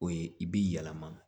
O ye i b'i yɛlɛma